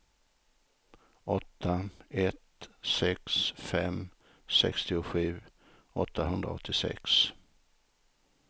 åtta ett sex fem sextiosju åttahundraåttiosex